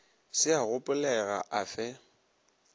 se a gopolega a fe